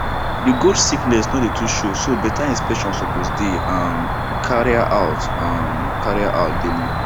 the goats sickness no dey too show so better inspection suppose dey um carrier out um carrier out daily